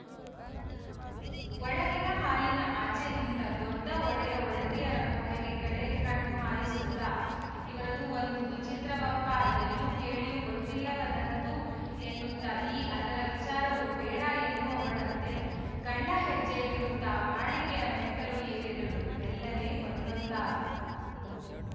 ಒಳಗಿನ ಹಾಲಿನ ಆಚೆ ನಿಂತ ದೊಡ್ಡ ಒಡೆಯ ಒಡತಿಯರ ಕೋಣೆಗೆ ಕಡೆ ಕಣ್ಣು ಹಾಯಿಸುತ್ತ ಇವರದೂ ಒಂದು ವಿಚಿತ್ರವಪ್ಪ ಎಲ್ಲೂ ಕೇಳಿಯೂ ಗೊತ್ತಿಲ್ಲದಂಥದ್ದು ಎನ್ನುತ್ತಈ ಅದರ ವಿಚಾರವೂ ಬೇಡ ಎನ್ನುವವಳಂತೆ ಕಳ್ಳಹೆಜ್ಜೆ ಇಡುತ್ತ ಮಾಳಿಗೆಯ ಮೆಟ್ಟಲು ಏರಿದಳು ಮೆಲ್ಲನೆ ಒಂದೊಂದಾಗಿ